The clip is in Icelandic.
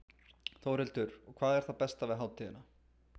Þórhildur: Og hvað er það besta við hátíðina?